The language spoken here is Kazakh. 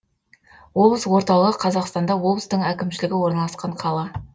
облыс орталығы қазақстанда облыстың әкімшілігі орналасқан қала